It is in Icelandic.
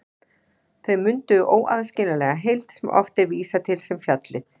Þau mynduðu óaðskiljanlega heild sem oft er vísað til sem fjallið.